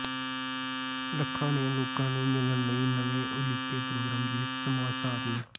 ਲੱਖਾ ਨੇ ਲੋਕਾਂ ਨੂੰ ਮਿਲਣ ਲਈ ਨਵੇਂ ਉਲੀਕੇ ਪ੍ਰੋਗਰਾਮ ਦੀ ਸਮਾਂਸਾਰਨੀ